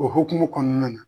O hokumu kɔnɔna na.